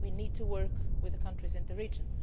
we need to work with the countries and the region.